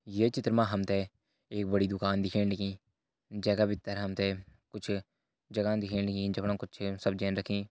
ये चित्र मा हम त एक बड़ी दुकान दिखेण लगीं जैका भीतर हम त कुछ जगह दिखेणी जमणा कुछ सब्जियां रखीं।